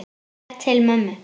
Slær til mömmu.